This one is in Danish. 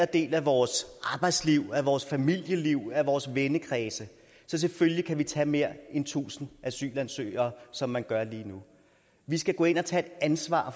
del af vores arbejdsliv af vores familieliv af vores vennekreds så selvfølgelig kan vi tage mere end tusind asylansøgere som man gør lige nu vi skal gå ind og tage et ansvar